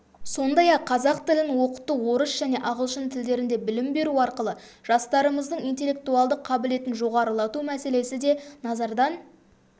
сондай-ақ қазақ тілін оқыту орыс және ағылшын тілдерінде білім беру арқылы жастарымыздың интеллектуалдық қабілетін жоғарылату мәселесі де назардан